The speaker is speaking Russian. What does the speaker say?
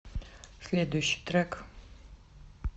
следующий трек